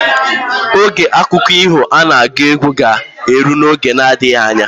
Oge akụkọ iho ana agụ agụ ga elu na oge na adigha anya